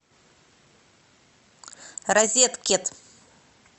розеткед